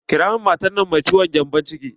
Ƙira min matan nan mai cutar gembon ciki!